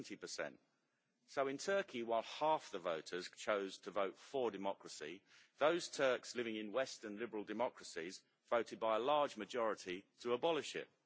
70. So in Turkey while half the voters chose to vote for democracy, those Turks living in Western liberal democracies voted by a large majority to abolish it.